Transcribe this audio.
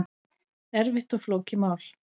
Erfitt og flókið mál